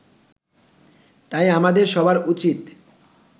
তাই আমাদের সবার উচিত